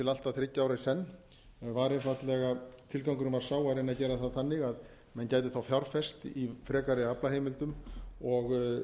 að þriggja ára í senn var einfaldlega tilgangurinn var sá að reyna að gera það þannig að menn gætu fjárfest í frekari aflaheimildum og